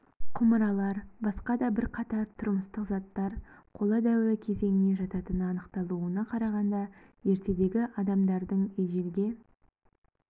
құмыралар басқа да бірқатар тұрмыстық заттар қола дәуірі кезеңіне жататыны анықталуына қарағанда ертедегі адамдардың ежелге